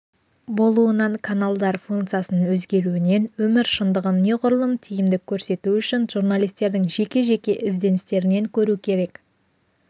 болуынан каналдар функциясының өзгеруінен өмір шындығын неғұрлым тиімді көрсету үшін журналистердің жеке-жеке ізденістерінен көру керек